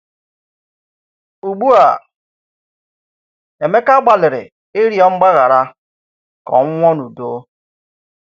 Ùgbụ̀a Émeka gbàlìrì ị̀rịọ̀ mgbaghara ka ọ̀ nwụọ n’udo.